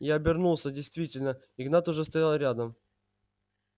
я обернулся действительно игнат уже стоял рядом